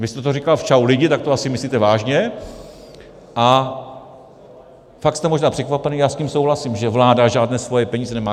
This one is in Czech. Když jste to říkal v Čau lidi, tak to asi myslíte vážně, a pak jste možná překvapený, já s tím souhlasím, že vláda žádné svoje peníze nemá.